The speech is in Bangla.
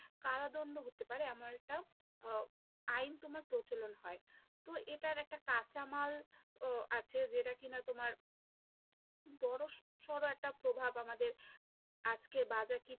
কারাদণ্ড হতে পারে এমন একটা আহ আইন তোমার প্রচলন হয়, তো এটার একটা কাঁচামালও আছে যেটা কি না তোমার বড়ো সরো একটা প্রভাব আমাদের আজকের